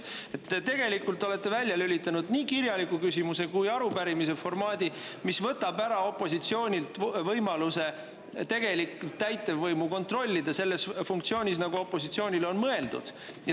Te tegelikult olete välja lülitanud nii kirjaliku küsimuse kui ka arupärimise formaadi, võttes opositsioonilt ära võimaluse täitevvõimu kontrollida selles funktsioonis, nagu see on mõeldud.